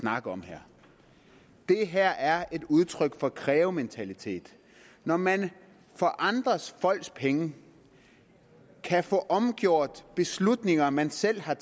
snakker om her det her er et udtryk for krævementalitet når man for andre folks penge kan få omgjort beslutninger man selv har